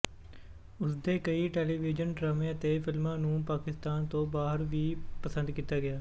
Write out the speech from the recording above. ਉਸਦੇ ਕਈ ਟੈਲੀਵਿਜ਼ਨ ਡਰਾਮਿਆਂ ਤੇ ਫ਼ਿਲਮਾਂ ਨੂੰ ਪਾਕਿਸਤਾਨ ਤੋਂ ਬਾਹਰ ਵੀ ਪਸੰਦ ਕੀਤਾ ਗਿਆ